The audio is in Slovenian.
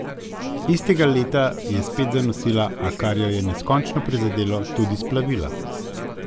Istega leta je spet zanosila, a, kar jo je neskončno prizadelo, tudi splavila.